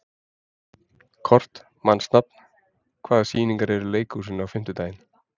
Kort (mannsnafn), hvaða sýningar eru í leikhúsinu á fimmtudaginn?